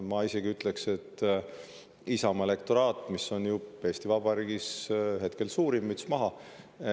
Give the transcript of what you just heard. Ma isegi ütleks, et Isamaa elektoraat, mis on ju Eesti Vabariigis hetkel suurim – müts maha!